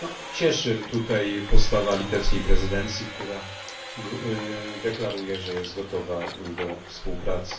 Cieszy postawa litewskiej prezydencji, która deklaruje, że jest gotowa do współpracy.